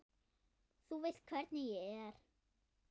Þú veist hvernig ég er.